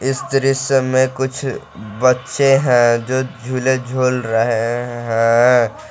इस दृश्य में कुछ बच्चे हैं जो झूले झूल रहे हैं।